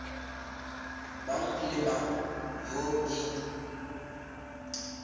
mang le mang yoo e